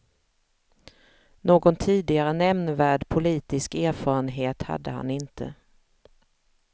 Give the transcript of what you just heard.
Någon tidigare nämnvärd politisk erfarenhet hade han inte.